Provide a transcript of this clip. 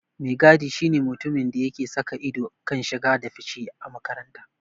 Mai gadi shi ne mutumin da yake saka ido a kan shige da fice a makaranta.